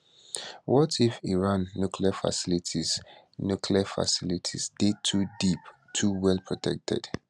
what if iran nuclear facilities nuclear facilities dey too deep too well protected